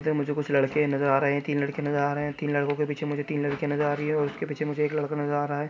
मुझे कुछ लडके नजर आ रहे है तिन लडके नजर आ रहे है तिन लड़को के पिछे मुजे तिन लड़कियां नजर आ रहि है और उस्के पिछे मुजे एक लड़का नजर आ रहा है।